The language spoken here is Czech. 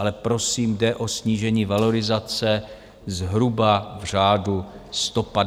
Ale prosím, jde o snížení valorizace zhruba v řádu 150 až 200 korun.